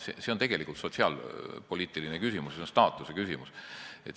See on tegelikult sotsiaalpoliitiline küsimus, see on staatuse küsimus.